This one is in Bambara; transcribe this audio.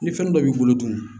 Ni fɛn dɔ b'i bolo dun